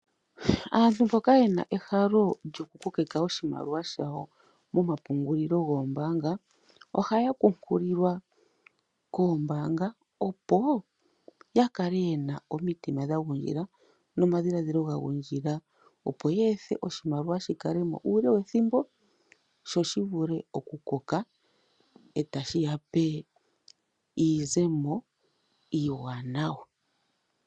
Aantu mboka yena ehalo lyokukokeka oshimaliwa shawo momapungulilo goombaanga ohaya pukululwa koombanga opo yakale yena omitima dhagungila nomadhiladhilo gagundjila opo yeethe oshimaliwa shikalemo uule wethimo sho shivule okukoka ee tashi yape iizemo iiwanawa.